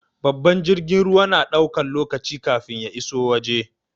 Babbar jirgin ruwa na ɗaukan lokaci kafin ya iso waje.